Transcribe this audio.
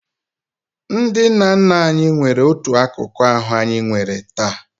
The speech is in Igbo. Ndị nna nna anyị nwere otu akụkụ ahụ anyị nwere taa.